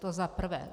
To za prvé.